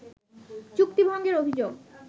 চুক্তি ভঙ্গের অভিযোগ